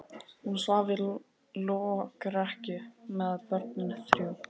Hún svaf í lokrekkju með börnin þrjú.